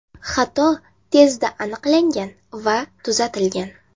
Xato tezda aniqlangan va tuzatilgan.